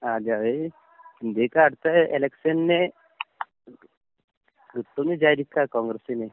ആഹ് അതെ അവര് ഇന്ത്യക്ക് അടുത്ത എലക്ഷന് കിട്ടുംന്ന് വിചാരിക്കാ കോൺഗ്രസ്സിന്.